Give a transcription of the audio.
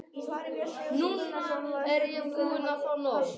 Núna er ég búin að fá nóg.